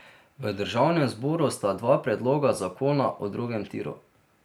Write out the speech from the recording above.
V državnem zboru sta dva predloga zakona o drugem tiru.